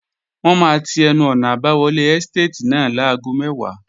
Wọ́n máa ti ẹnu-ọ̀nà àbáwọlé ẹ́stàtì náà láago mẹ́wàá